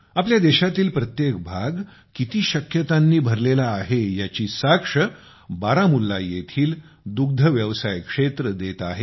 आपल्या देशातील प्रत्येक भाग किती शक्यतांनी भरलेला आहे याची साक्ष बारामुल्ला येथील दुग्धव्यवसाय क्षेत्र देत आहे